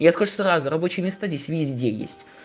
я скажу сразу рабочее место здесь везде есть